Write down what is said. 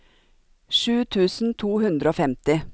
sju tusen to hundre og femti